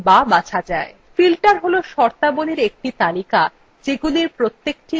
filter has শর্তাবলীর একটি তালিকা যেগুলির প্রত্যেকটি মিটলেই কোনো তথ্যকে দেখতে পারা যায়